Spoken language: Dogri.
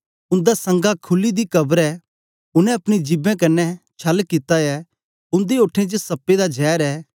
उन्दा संगा खुली दी कब्र ऐ उनै अपनी जिभें क्न्ने छल्ल कित्ता ऐ उन्दे ओठें च सप्पें दा जैर ऐ